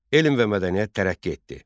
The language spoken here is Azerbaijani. Elm və mədəniyyət tərəqqi etdi.